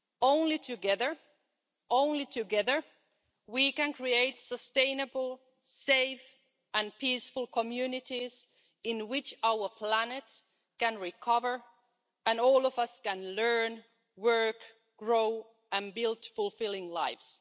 Only together only together we can create sustainable safe and peaceful communities in which our planet can recover and all of us can learn, work, grow and build fulfilling lives.